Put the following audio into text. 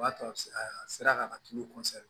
O b'a to a bɛ se a sera ka natu